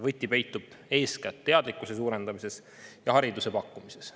Võti peitub eeskätt teadlikkuse suurendamises ja hariduse pakkumises.